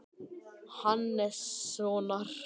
Hannessonar, prófessors, sem senn myndi láta af störfum.